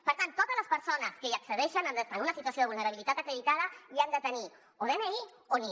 per tant totes les persones que hi accedeixen han d’estar en una situació de vulnerabilitat acreditada i han de tenir o dni o nie